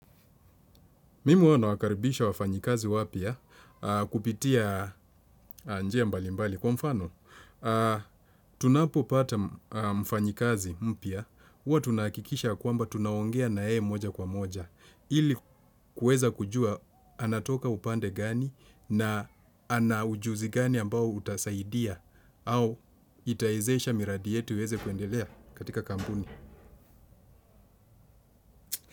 Mimi huwa nawakaribisha wafanyikazi wapia kupitia njia mbali mbali kwa mfano. Tunapo pata mfanyikazi mpia, uwa tunakikisha kuamba tunawongea na ee moja kwa moja. Ili kueza kujua anatoka upande gani na anaujuzi gani ambao utasaidia au itaizesha miradi yetu iweze kuendelea katika kampuni.